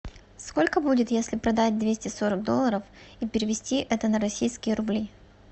сколько будет если продать двести сорок долларов и перевести это на российские рубли